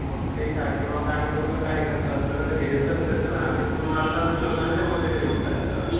किंवा काही लोकं काय करतात? सरळ घेतात कचरा आणि तो नाला असतो त्या नाल्यामध्ये नेऊन टाकतात.